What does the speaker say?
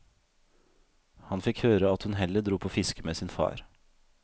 Han fikk høre at hun heller dro på fiske med sin far.